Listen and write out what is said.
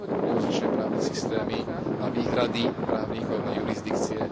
rozličné právne systémy, na výhrady právnikov, na jurisdikcie.